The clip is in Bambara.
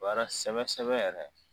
Baara sɛbɛ sɛbɛ yɛrɛ